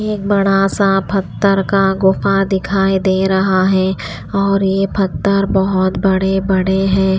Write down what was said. एक बड़ा सा पत्थर का गुफा दिखाई दे रहा है और यह पत्थर बहुत बड़े-बड़े हैं।